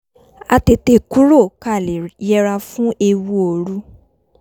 a tètè kúrò ká lè yẹra fún ewu òru